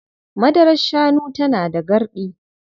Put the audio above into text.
Madarar shanu tana da garɗi.